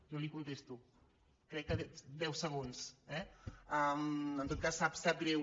jo li ho contesto crec que deu se·gons eh en tot cas sap greu